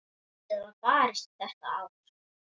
Lítið var barist þetta ár.